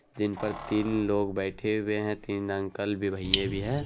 जिन पर तीन लोग बैठे हुए हैं तीन अंकल भी भैये भी हैं।